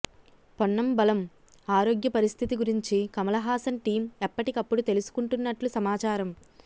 పొన్నంబళమ్ ఆరోగ్య పరిస్థితి గురించి కమల్ హాసన్ టీమ్ ఎప్పటికప్పుడు తెలుసుకుంటున్నట్లు సమాచారం